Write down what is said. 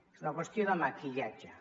és una qüestió de maquillatge